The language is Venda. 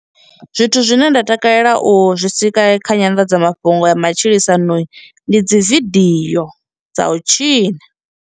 Zwithu zwine nda takalela u zwi sika kha nyanḓadzamafhungo ya matshilisano ndi dzi video dza u tshina.